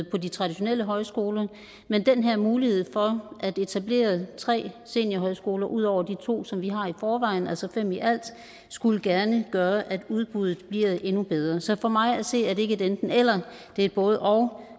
på de traditionelle højskoler men den her mulighed for at etablere tre seniorhøjskoler ud over de to som vi har i forvejen altså fem i alt skulle gerne gøre at udbuddet bliver endnu bedre så for mig at se er det ikke et enten eller det er et både og